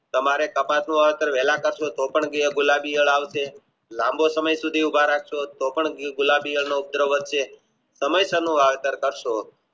તમારે કપાસ વેળા ટકે શોષણ વાળા ગુલાબી આવશે લમ્બો સમય સુધી ઉભા રાખશો તો સમસ્યાનું વાવેતર કારસો